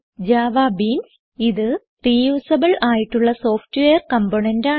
JavaBeans ഇത് reusable ആയിട്ടുള്ള software component ആണ്